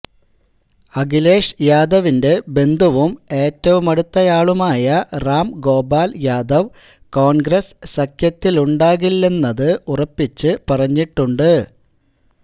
അഖിലേഷ് യാദവിന്റെ ബന്ധുവും ഏറ്റവുമടുത്തയാളുമായ റാം ഗോപാല് യാദവ് കോണ്ഗ്രസ് സഖ്യത്തിലുണ്ടാകില്ലെന്നത് ഉറപ്പിച്ച് പറഞ്ഞിട്ടുണ്ട്